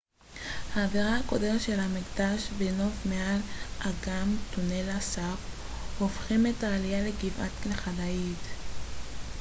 האווירה הקודרת של המקדש והנוף מעל אגם טונלה סאפ הופכים את העלייה לגבעה לכדאית